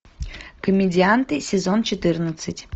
комедианты сезон четырнадцать